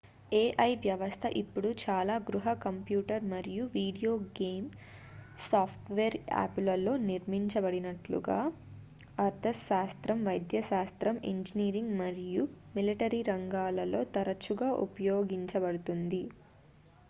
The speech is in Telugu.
ai వ్యవస్థ ఇప్పుడు చాలా గృహ కంప్యూటర్ మరియు వీడియో గేమ్ సాఫ్ట్వేర్ యాపులలో నిర్మించబడినట్లుగా అర్థశాస్త్రం వైద్యశాస్త్రం ఇంజనీరింగ్ మరియు మిలిటరీ రంగాలలో తరచుగా ఉపయోగించబడుతుంది